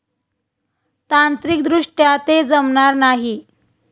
तांत्रिकदृष्ट्या ते जमणार नाही.